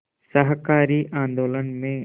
शाकाहारी आंदोलन में